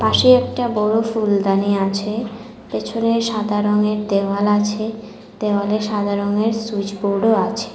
পাশে একটা বড় ফুলদানি আছে পেছনে সাদা রঙের দেওয়াল আছে দেওয়ালে সাদা রঙের সুইচ বোর্ডও আছে।